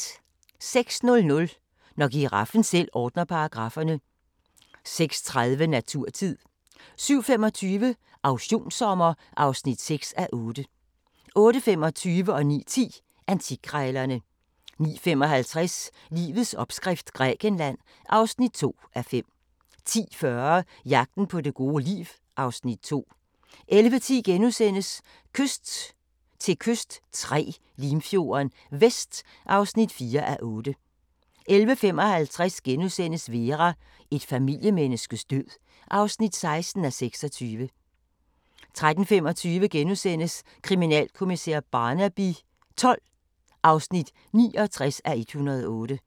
06:00: Når giraffen selv ordner paragrafferne 06:30: Naturtid 07:25: Auktionssommer (6:8) 08:25: Antikkrejlerne 09:10: Antikkrejlerne 09:55: Livets opskrift – Grækenland (2:5) 10:40: Jagten på det gode liv (Afs. 2) 11:10: Kyst til kyst III – Limfjorden Vest (4:8)* 11:55: Vera: Et familiemenneskes død (16:26)* 13:25: Kriminalkommissær Barnaby XII (69:108)*